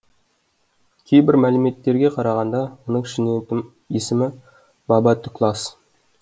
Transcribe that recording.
кейбір мәліметтерге қарағанда оның шын есімі баба түклас